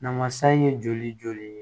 Namasa in ye joli joli